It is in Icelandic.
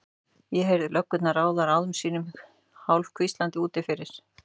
Ég heyrði löggurnar ráða ráðum sínum hálfhvíslandi úti fyrir.